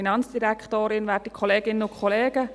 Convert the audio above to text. Ich kann es vorwegnehmen: